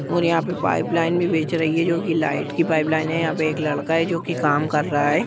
और यहा पे पाइप लाइन भी बेच रही है जो की लाईट की पाइप लाइन है यहां पे एक लड़का है जो की काम कर रहा है।